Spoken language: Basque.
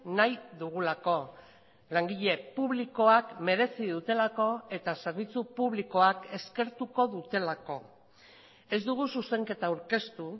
nahi dugulako langile publikoak merezi dutelako eta zerbitzu publikoak eskertuko dutelako ez dugu zuzenketa aurkeztu